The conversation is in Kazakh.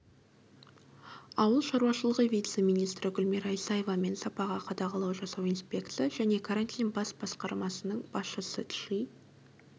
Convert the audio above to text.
ауыл шаруашылығы вице-министрі гүлмира исаева мен сапаға қадағалау жасау инспекция және карантин бас басқармасының басшысы чжи